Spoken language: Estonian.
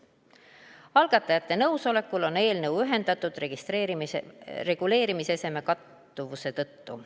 Algatajate nõusolekul on eelnõu ühendatud reguleerimiseseme kattuvuse tõttu.